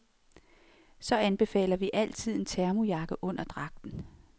Så anbefaler vi altid en termojakke under dragten.